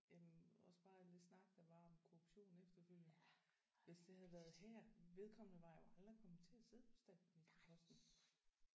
Jamen også bare alt det snak der var om korruption efterfølgende. Hvis det havde været her vedkommende var jo aldrig kommet til at sidde på statsministerposten